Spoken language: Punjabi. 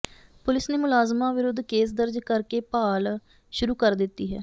ਪੁਲਿਸ ਨੇ ਮੁਲਜ਼ਮਾਂ ਵਿਰੁੱਧ ਕੇਸ ਦਰਜ ਕਰ ਕੇ ਭਾਲ ਸ਼ੁਰੂ ਕਰ ਦਿੱਤੀ ਹੈ